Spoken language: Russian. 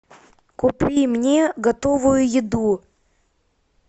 купи мне готовую еду